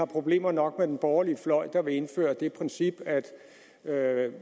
problemer nok med den borgerlige fløj der vil indføre det princip at